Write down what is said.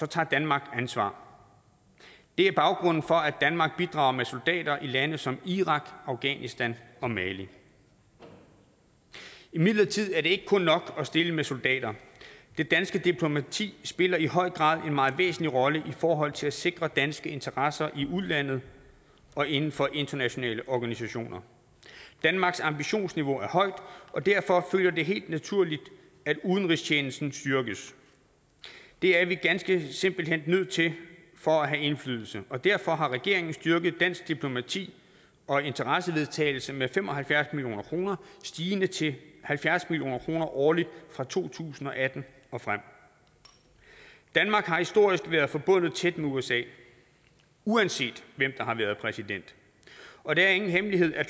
tager danmark ansvar det er baggrunden for at danmark bidrager med soldater i lande som irak afghanistan og mali imidlertid er det ikke kun nok at stille med soldater det danske diplomati spiller i høj grad en meget væsentlig rolle i forhold til at sikre danske interesser i udlandet og inden for internationale organisationer danmarks ambitionsniveau er højt og derfor følger det helt naturligt at udenrigstjenesten styrkes det er vi ganske simpelt hen nødt til for at have indflydelse og derfor har regeringen styrket dansk diplomati og interessevaretagelse med fem og halvfjerds million kroner stigende til halvfjerds million kroner årligt fra to tusind og atten og frem danmark har historisk været forbundet tæt med usa uanset hvem der har været præsident og det er ingen hemmelighed at